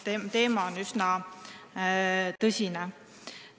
Teema on üsna tõsine.